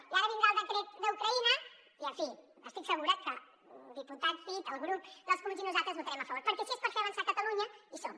i ara vindrà el decret d’ucraïna i en fi estic segura que el diputat cid el grup dels comuns i nosaltres hi votarem a favor perquè si és per fer avançar catalunya hi som